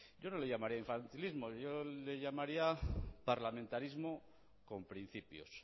yo no le llamaría infantilismo yo le llamaría parlamentarismo con principios